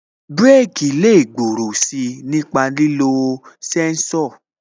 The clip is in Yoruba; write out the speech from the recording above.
Bireki lè gbòòrò si nípa lílo sẹ́ńsọ̀